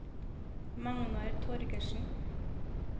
Magnar Torgersen